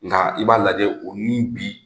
Nka i b'a lajɛ, o ni bi,